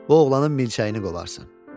Bu oğlanın milçəyini qovarsan.